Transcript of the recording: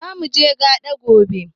Zamuje gaɗa gobe?